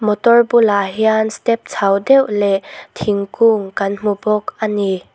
motor bulah hian step chho deuh leh thingkung kan hmu bawk a ni.